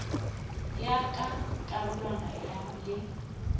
ya ka karolwana ya le